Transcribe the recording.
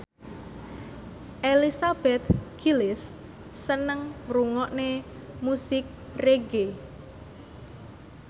Elizabeth Gillies seneng ngrungokne musik reggae